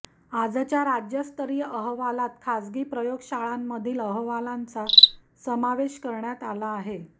आजच्या राज्यस्तरीय अहवालात खासगी प्रयोगशाळांमधील अहवालांचा समावेश करण्यात आलेला आहे